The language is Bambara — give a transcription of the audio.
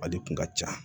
Ale kun ka ca